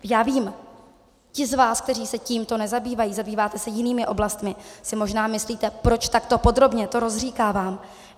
Já vím, ti z vás, kteří se tímto nezabývají, zabýváte se jinými oblastmi, si možná myslíte, proč takto podrobně to rozříkávám.